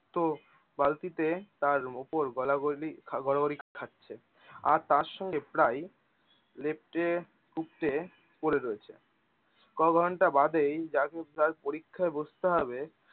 তো বালতিতে তার উপর গলাগলি গড়াগড়ি খাচ্ছে। আর তার সঙ্গে প্রায় লেপটে উপটে পড়ে রয়েছে। ক'ঘণ্টা বাদেই যাকে কাল পরীক্ষায় বসতে হবে